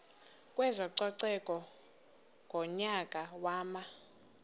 kwezococeko ngonyaka wama